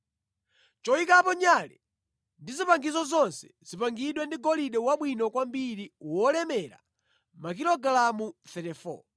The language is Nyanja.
Choyikapo nyale ndi zipangizo zonse zipangidwe ndi golide wabwino kwambiri wolemera makilogalamu 34.